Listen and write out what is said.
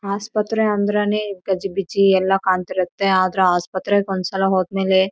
ಈ ಕಡೆಗೆ ಒಂದು ಆಟೊ ನಿಂತಿದೆ ಈ ಕಡೆಗೆ ಎಲ್ಲ ಅಂಗಡಿಗಳನ್ನು ಇದೆ.